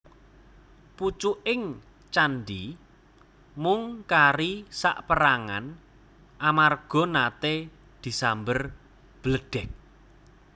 Pucuking candhi mung kari saperangan amarga nate disamber bledheg